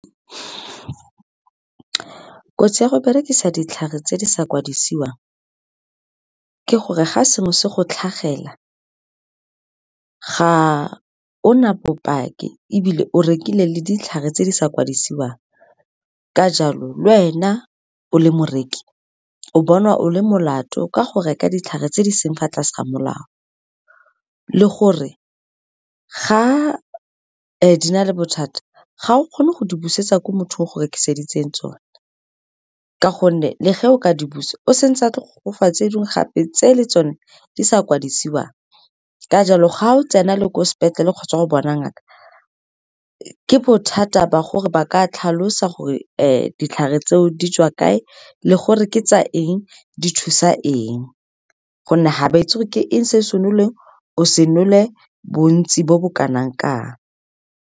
Kotsi ya go berekisa ditlhare tse di sa kwadisiwang ke gore ga sengwe se go tlhagelela, ga o na bopaki, ebile o rekile le ditlhare tse di sa kwadisiwang. Ka jalo, le wena o le moreki o bonwa o le molato ka go reka ditlhare tse di seng fa tlase ga molao. Le gore ga di na le bothata, ga o kgone go di busetsa ko mothong o go rekiseditseng tsone, ka gonne le ge o ka di busa, o se ntse a go fa tse dingwe gape tse le tsone di sa kwadisiwang. Ka jalo, ga o tsena le ko sepetlele kgotsa o bona ngaka, ke bothata ba gore ba ka tlhalosa gore ditlhare tseo di tswa kae, le gore ke tsa eng, di thusa eng, gonne ga ba e itse, ke eng se o se noleng, o se nole, bontsi bo bo kanang kang.